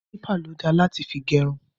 Kílípà ló da láti fi gẹrun.